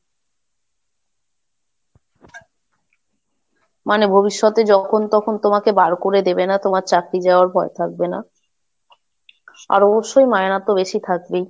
মানে ভবিষ্যতে যখন তখন তোমাকে বার করে দেবে না, তোমার চাকরি যাওয়ার ভয় থাকবে না, আর অবশ্যই মায়না তো বেশি থাকবেই।